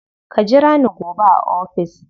Ka jira ni gobe a ofis.